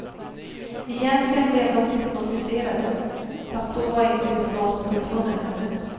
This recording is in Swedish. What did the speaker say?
Egentligen blev de hypnotiserade, fast då var inte hypnosen uppfunnen ännu.